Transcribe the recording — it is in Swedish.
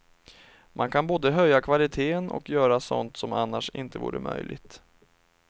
Man kan både höja kvaliteten och göra sådant som annars inte vore möjligt.